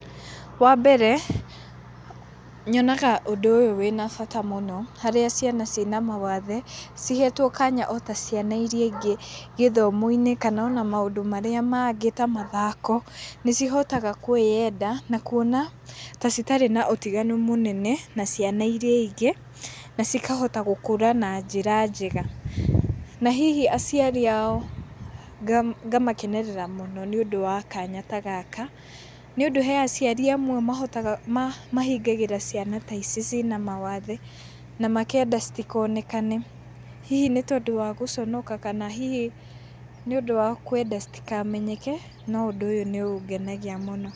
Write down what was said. Wa mbere, nyonaga ũndũ ũyũ wĩna bata mũno, harĩa ciana cina mawathe, cihetwo kanya o ta ciana irĩa ingĩ gĩthomo-inĩ kana ona maũndũ marĩa mangĩ ta mathako, nĩ cihotaga kwĩyenda, na kuona ta citarĩ na ũtiganu mũnene na ciana irĩa ingĩ, na cikahota gũkũra na njĩra njega. Na hihi aciari ao ngamakenerera mũno nĩ ũndũ wa kanya ta gaka, nĩ ũndũ he aciari amwe mahotaga mahingagĩra ciana ta ici cina mawathe, na makenda citikonekane. Hihi nĩ tondũ wa gũconoka kana hihi nĩ ũndũ wa kwenda citikamenyeke, no ũndũ nĩ ũngenagia mũno.